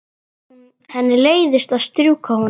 Henni leiðist að strjúka honum.